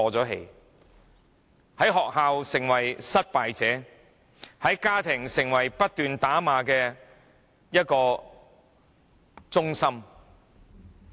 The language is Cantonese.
他們在學校成為失敗者，在家庭成為不斷被打罵的中心。